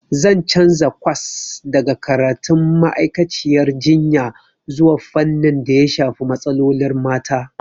Zan canza kwas daga karatun ma'aikaciyar jinya zuwa fannin daya shafi matsalolin mata.